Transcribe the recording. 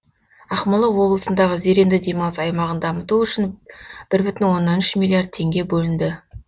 ақмола облысындағы зеренді демалыс аймағын дамыту үшін бір бүтін оннан үш миллиард теңге бөлінді